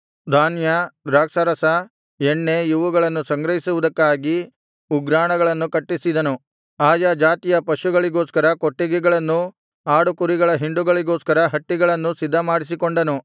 ಧಾನ್ಯ ದ್ರಾಕ್ಷಾರಸ ಎಣ್ಣೆ ಇವುಗಳನ್ನು ಸಂಗ್ರಹಿಸುವುದಕ್ಕಾಗಿ ಉಗ್ರಾಣಗಳನ್ನು ಕಟ್ಟಿಸಿದನುಆಯಾ ಜಾತಿಯ ಪಶುಗಳಿಗೋಸ್ಕರ ಕೊಟ್ಟಿಗೆಗಳನ್ನೂ ಆಡುಕುರಿಗಳ ಹಿಂಡುಗಳಿಗೋಸ್ಕರ ಹಟ್ಟಿಗಳನ್ನೂ ಸಿದ್ಧಮಾಡಿಸಿಕೊಂಡನು